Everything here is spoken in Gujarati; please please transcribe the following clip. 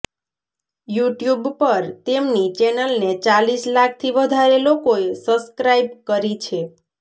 યુટ્યુબ પર તેમની ચેનલને ચાલીસ લાખથી વધારે લોકોએ સબ્સ્ક્રાઇબ કરી છે